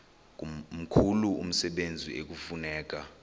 mkhulu umsebenzi ekufuneka